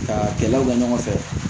Ka kɛlɛw kɛ ɲɔgɔn fɛ